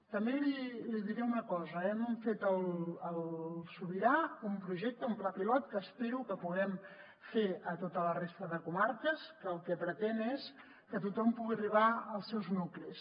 també li diré una cosa hem fet al sobirà un projecte un pla pilot que espero que puguem fer a tota la resta de comarques que el que pretén és que tothom pugui arribar als seus nuclis